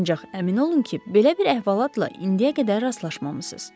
Ancaq əmin olun ki, belə bir əhvalatla indiyə qədər rastlaşmamısız.